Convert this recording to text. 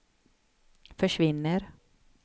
försvinner